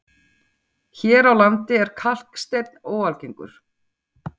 Hér á landi er kalksteinn óalgengur.